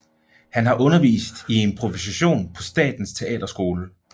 Han har undervist i improvisation på Statens Teaterskole